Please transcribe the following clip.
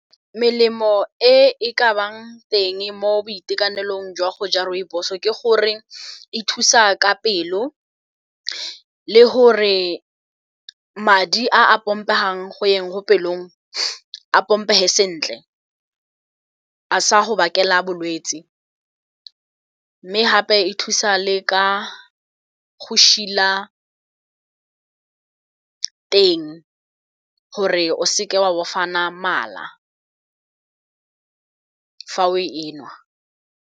Melemo e ka nnang teng mo boitekanelong jwa go ja rooibos o ke gore e thusa ka pelo, le gore madi a a pompegang go yeng go pelong a pompege sentle, a sa go bakela bolwetse. Mme gape e thusa le ka go šila teng gore o seke wa bofana mala fa o e nwa.